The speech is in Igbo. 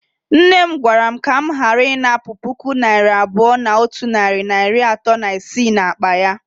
Nne m gwara m ka m ghara inapu puku naira abuo na otu nari na iri ato na isii n'akpa ya.